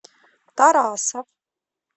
тарасов